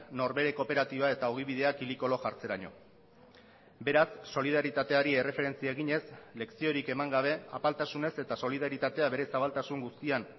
norbere kooperatiba eta ogibidea kili kolo jartzeraino beraz solidaritateari erreferentzia eginez leziorik eman gabe apaltasunez eta solidaritatea bere zabaltasun guztian